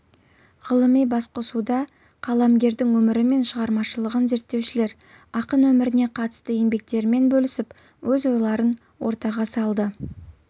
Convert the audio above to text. ғылыми басқосуда қаламгердің өмірі мен шығармашылығын зерттеушілер ақын өміріне қатысты еңбектерімен бөлісіп өз ойларын ортаға салды